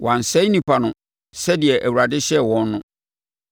Wɔansɛe nnipa no sɛdeɛ Awurade hyɛɛ wɔn no,